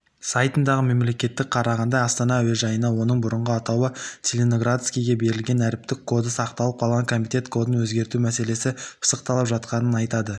сайтындағы мәліметке қарағанда астана әуежайына оның бұрынғы атауы целиноградскийге берілген әріптік коды сақталып қалған комитет кодын өзгерту мәселесі пысықталып жатқанын айтады